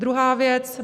Druhá věc.